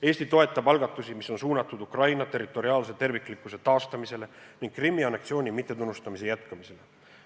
Eesti toetab algatusi, mis on suunatud Ukraina territoriaalse terviklikkuse taastamisele ning Krimmi anneksiooni mittetunnustamise jätkumisele.